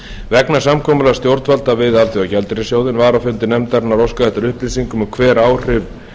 vegna samkomulags stjórnvalda við alþjóðagjaldeyrissjóðinn var á fundi nefndarinnar óskað eftir upplýsingum um hver áhrif